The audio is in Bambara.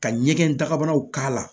Ka ɲɛgɛn dagabanaw k'a la